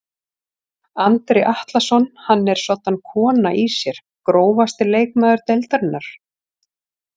Andri Atlason hann er soddan kona í sér Grófasti leikmaður deildarinnar?